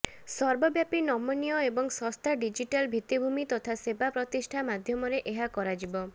ସର୍ବବ୍ୟାପୀ ନମନୀୟ ଏବଂ ଶସ୍ତା ଡିଜିଟାଲ ଭିତିଭୂମି ତଥା ସେବା ପ୍ରତିଷ୍ଠା ମାଧ୍ୟମରେ ଏହା କରାଯିବ